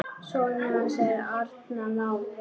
Sonur hans er Arnar Máni.